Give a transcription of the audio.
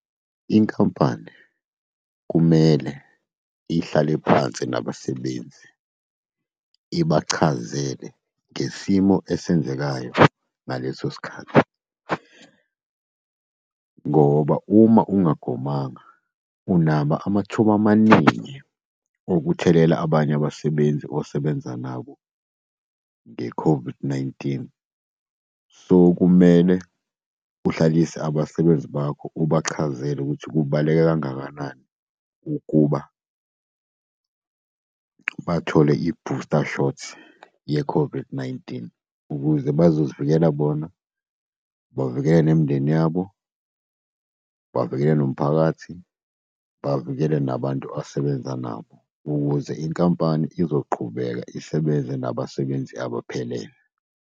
Inkampani kumele ihlale phansi nabasebenzi, ibachazele ngesimo esenzekayo ngaleso sikhathi, ngoba uma ungagomanga unaba amathuba amaningi okuthelela abanye abasebenzi osebenza nabo nge-COVID-19. So, kumele uhlalise abasebenzi bakho, ubachazele ukuthi kubaluleke kangakanani ukuba bathole i-booster shot ye-COVID-19, ukuze bazozivikele bona, bavikele nemindeni yabo, bavikele nomphakathi, bavikele nabantu asebenza nabo. Ukuze inkampani izoqhubeka isebenze nabasebenzi abaphelele.